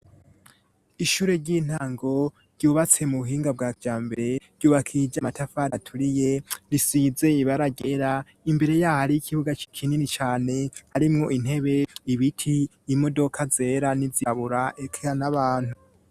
Ishure ry'intango ryubatse mu buhinga bwa vya mbere ryubakiye irja matafar aturiye risizeye ibaragera imbere yaho ari ikibuga c'ikinini cane arimwo intebe ibiti imodoka zera nizibabura ekera n'abantu.